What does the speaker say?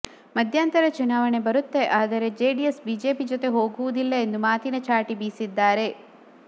ಮಧ್ಯಂತರ ಚುನಾವಣೆ ಬರುತ್ತೆ ಆದರೆ ಜೆಡಿಎಸ್ ಬಿಜೆಪಿ ಜೊತೆಗೆ ಹೋಗುವುದಿಲ್ಲ ಎಂದು ಮಾತಿನ ಚಾಟಿ ಬೀಸಿದ್ದಾರೆ